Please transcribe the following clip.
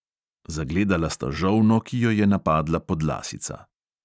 Zagledala sta žolno, ki jo je napadla podlasica.